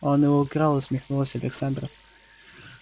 он его украл усмехнулась александра